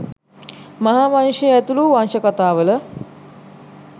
මහා වංශය ඇතුළු වංශ කතාවල